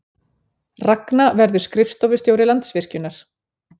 Ragna verður skrifstofustjóri Landsvirkjunar